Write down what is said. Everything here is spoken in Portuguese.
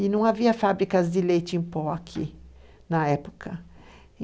E não havia fábricas de leite em pó aqui na época.